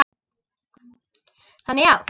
Þannig já.